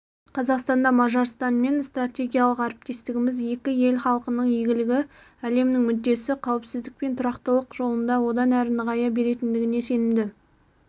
қазақстанда мажарстанмен стратегиялық әріптестігіміз екі ел халқының игілігі әлемнің мүддесі қауіпсіздік пен тұрақтылық жолында одан әрі нығая беретіндігіне сенімді